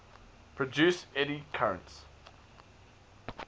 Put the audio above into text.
produce eddy currents